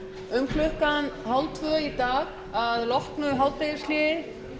um klukkan hálftvö í dag að loknu hádegishléi